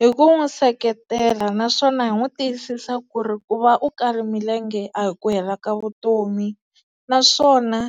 Hi ku n'wi seketela naswona hi n'wi tiyisisa ku ri ku va u kala milenge a hi ku hela ka vutomi naswona